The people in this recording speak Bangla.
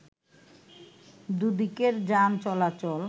দুই দিকের যান চলাচল